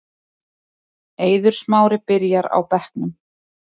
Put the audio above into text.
Eiður Smári byrjar á bekknum